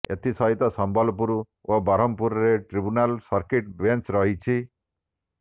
ଏଥି ସହିତ ସମ୍ବଲପୁର ଓ ବ୍ରହ୍ମପୁରରେ ଟ୍ରିବୁନାଲର ସର୍କିଟ ବେଞ୍ଚ୍ ରହିଛି